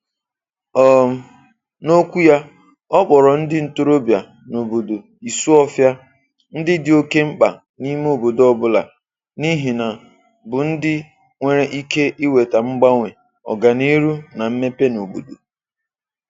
um N'okwu ya, ọ kpọrọ ndị ntorobịa n'obodo Isuọfia ndị dị oké mkpa n'ime obodo ọ bụla, n'ihi na bụ ndị nwere ike iweta mgbanwe, ọganihu na mmepe n'obodo.